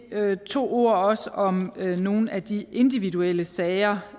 to ord også om nogle af de individuelle sager